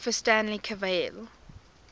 philosopher stanley cavell